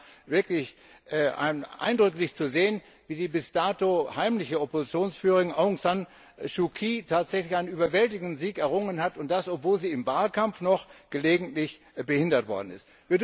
Es war wirklich eindrücklich zu sehen, wie die bis dato heimliche Oppositionsführerin Aung San Suu Kyi tatsächlich einen überwältigenden Sieg errungen hat, und das, obwohl sie im Wahlkampf noch gelegentlich behindert worden ist.